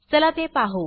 चला ते पाहू